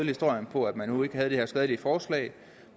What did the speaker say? historien på at man nu ikke havde det her skadelige forslag